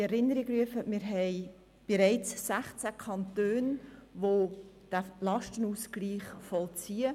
Ich möchte in Erinnerung rufen, dass es bereits 16 Kantone gibt, die diesen Lastenausgleich vollziehen.